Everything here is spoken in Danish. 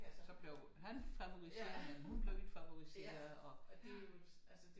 Så blev han favoriseret hun blev ikke favoriseret og ja